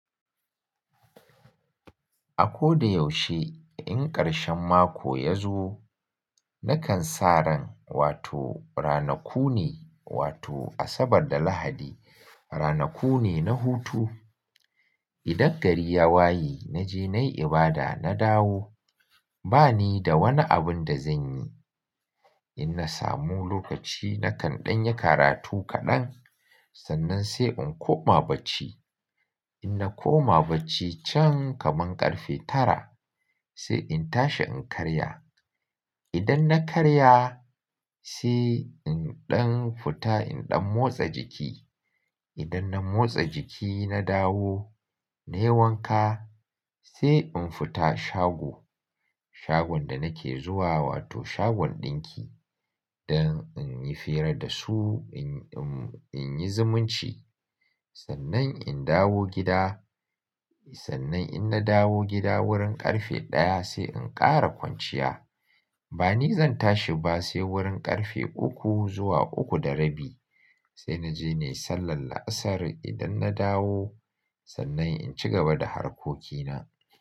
A ko da yaushe in ƙarshen mako ya zo nakan sa ran wato ranaku ne wato Asabar da Lahadi ranaku ne na hutu. Idan gari ya waye naje nayi ibada na dawo bani da wani abun da zanyi. Inna samu lokaci nakan ɗan yi karatu kaɗan sannan sai in koma bacci. In na koma bacci can kaman ƙarfe tara sai in tashi in karya. Idan na karya sai in ɗan futa in ɗan motsa jiki. Idan na motsa jiki na dawo nayi wanka sai in fita shago. Shagon da nake zuwa wato shagon ɗinki dan in yi fira da su in, in, in yi zumunci. Sannan in dawo gida, sannan in na dawo gida wurin ƙarfe ɗaya sai in ƙara kwanciya. Bani zan tashi ba sai wurin ƙarfe uku zuwa uku da rabi sai naje nayi sallar la'asar idan na dawo sannan in cigaba da harkokina.